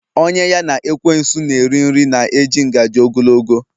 Onye ya na ekwensu na eriri nri na eji ngaji ogologo